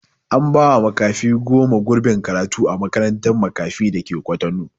An ba wa makafi goma gurbin karatu a makarantar makafi dake kwatano